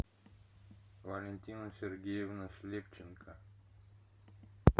валентина сергеевна слепченко